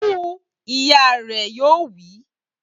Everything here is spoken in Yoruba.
Bu u! Ìyá rẹ̀ yóò wí.